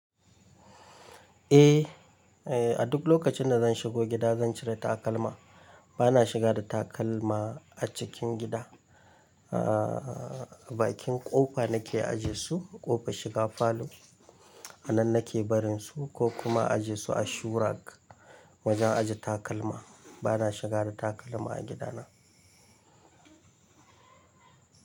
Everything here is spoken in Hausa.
Eh, eh a duk lokacin da zan shigo gida zan cire takalma. Bana shiga da takalma a cikin gida. Ah baki ƙofa nake ajiye su, ƙofa shiga falo a nan nake barin su ko kuma ajiye su a shoe rack wajen ajiye takalma. Bana shiga da takalma a gidana.